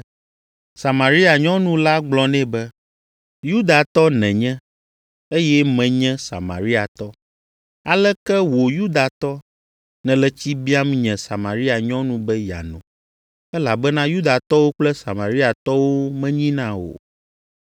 Samaria nyɔnu la gblɔ nɛ be, “Yudatɔ nènye, eye menye Samariatɔ. Aleke wò Yudatɔ, nèle tsi biam nye Samaria nyɔnu be yeano?” (Elabena Yudatɔwo kple Samariatɔwo menyina o.)